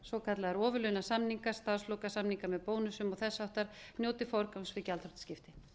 svokallaðir ofurlaunasamningar starfslokasamningar með bónusum og þess háttar njóti forgangs við gjaldþrotaskipti